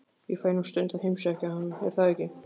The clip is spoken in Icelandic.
Ég fæ nú stundum að heimsækja hann, er það ekki?